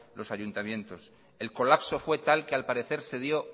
los ayuntamientos el colapso fue tal que al parecer se dio